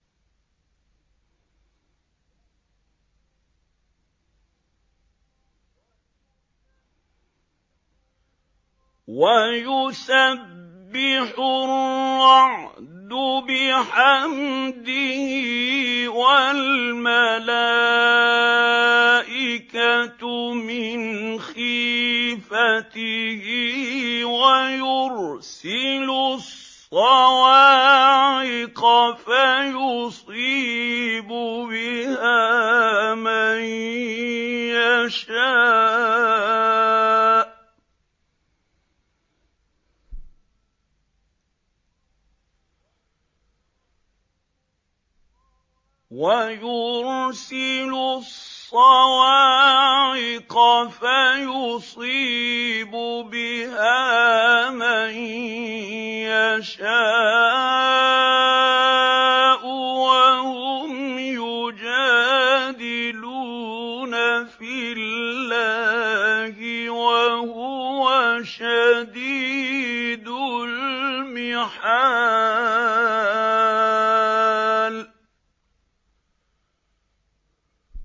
وَيُسَبِّحُ الرَّعْدُ بِحَمْدِهِ وَالْمَلَائِكَةُ مِنْ خِيفَتِهِ وَيُرْسِلُ الصَّوَاعِقَ فَيُصِيبُ بِهَا مَن يَشَاءُ وَهُمْ يُجَادِلُونَ فِي اللَّهِ وَهُوَ شَدِيدُ الْمِحَالِ